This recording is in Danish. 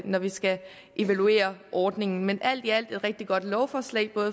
når vi skal evaluere ordningen men alt i alt et rigtig godt lovforslag